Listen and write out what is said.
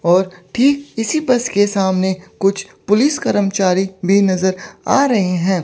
और ठीक इसी बस के सामने कुछ पुलिस कर्मचारी भी नजर आ रहे हैं।